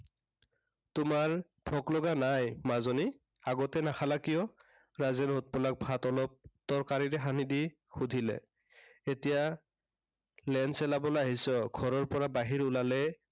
তোমাৰ ভোক লগা নাই মাজনী। আগতে নাখালা কিয়? ৰাজেনে ভাত অলপ তৰকাৰীৰে সানি দি সুধিলে। এতিয়া লেন চেলাবলে আহিছ, ঘৰৰ পৰা বাহিৰ ওলালে